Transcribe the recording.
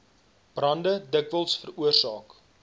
brande dikwels veroorsaak